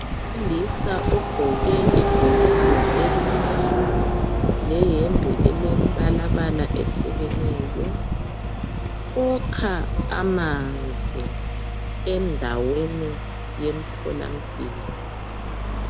Umlisa ogqoke ibhulugwe elimnyama leyembe elembalabala eyehlukeneyo ukha amanzi endaweni yemtholampilo.